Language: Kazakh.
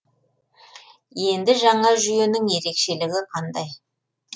енді жаңа жүйенің ерекшелігі қандай